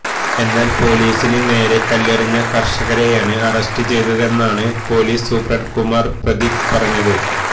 എന്നാല് പൊലീസിന് നേരെ കല്ലെറിഞ്ഞ കര്ഷകരെയാണ് അറസ്റ്റ് ചെയ്തെന്നാണ് പൊലീസ് സൂപ്പണ്ട് കുമാര് പ്രതീക് പറഞ്ഞത്